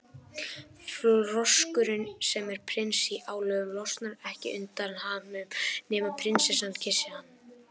Froskurinn, sem er prins í álögum, losnar ekki undan hamnum nema prinsessa kyssi hann.